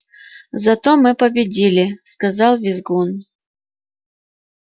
зато мы победили сказал визгун